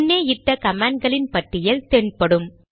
முன்னே இட்ட கமாண்ட்களின் பட்டியல் தென் படும்